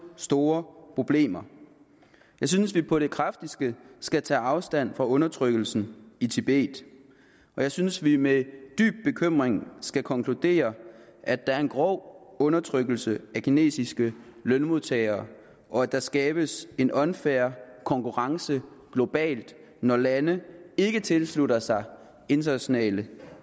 store problemer jeg synes vi på det kraftigste skal tage afstand fra undertrykkelsen i tibet og jeg synes vi med dyb bekymring skal konkludere at der er en grov undertrykkelse af kinesiske lønmodtagere og at der skabes en unfair konkurrence globalt når landene ikke tilslutter sig internationale